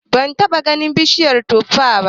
Ban taɓa ganin bishiyar tuffa ba